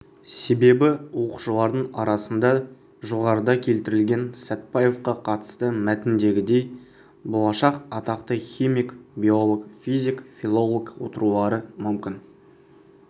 себебі оқушылардың арасында жоғарыда келтірілген сәтбаевқа қатысты мәтіндегідей болашақ атақты химик биолог физик филолог отырулары мүмкін